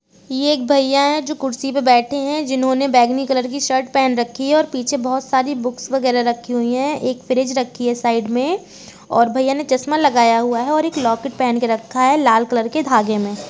ये एक भैया है जो कुर्सी पे बैठे हैं जिन्होंने बैंगनी कलर की शर्ट पहन रखी है और पीछे बोहोत सारी बुक्स वगैरह रखी हुई हैं। एक फ्रिज रखी है साइड में और भैया ने चस्मा लगाय हुआ है एक लॉकेट पहन के रखा है लाल कलर के धागे में।